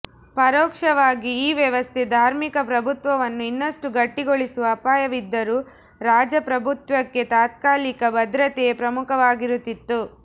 ಪರೋಕ್ಷವಾಗಿ ಈ ವ್ಯವಸ್ಥೆ ಧಾರ್ಮಿಕ ಪ್ರಭುತ್ವವನ್ನು ಇನ್ನಷ್ಟು ಗಟ್ಟಿಗೊಳಿಸುವ ಅಪಾಯವಿದ್ದರೂ ರಾಜ ಪ್ರಭುತ್ವಕ್ಕೆ ತಾತ್ಕಾಲಿಕ ಭದ್ರತೆಯೇ ಪ್ರಮುಖವಾಗಿರುತ್ತಿತ್ತು